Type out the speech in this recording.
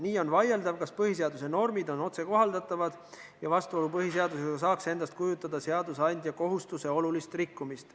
Nii on vaieldav, kas põhiseaduse normid on otsekohaldatavad ja vastuolu põhiseadusega saaks endast kujutada seadusandja kohustuse olulist rikkumist.